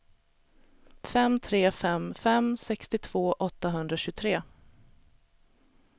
fem tre fem fem sextiotvå åttahundratjugotre